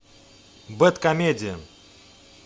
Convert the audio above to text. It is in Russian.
бэдкомедиан